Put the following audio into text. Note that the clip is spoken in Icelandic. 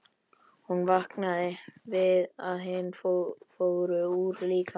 Hún vaknaði við að hún fór úr líkamanum.